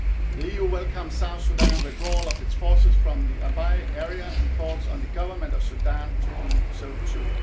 The EU welcomes South Sudan's withdrawal of its forces from the Abyei area and calls on the Government of Sudan to do so too.